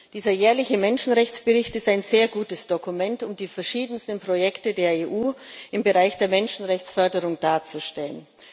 Dieser jährliche Menschenrechtsbericht ist ein sehr gutes Dokument, um die verschiedensten Projekte der EU im Bereich der Menschenrechtsförderung darzustellen.